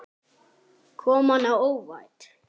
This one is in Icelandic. Kom manni á óvart?